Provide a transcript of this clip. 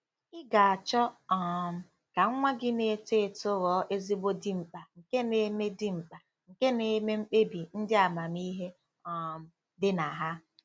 Ị ga-achọ um ka nwa gị na-eto eto ghọọ ezigbo dimkpa nke na-eme dimkpa nke na-eme mkpebi ndị amamihe um dị na ha.